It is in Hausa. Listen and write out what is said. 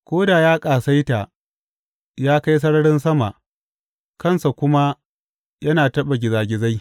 Ko da ya ƙasaita ya kai sararin sama, kansa kuma yana taɓa gizagizai.